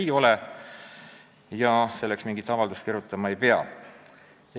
Hüvitise saamiseks mingit avaldust kirjutama ei pea.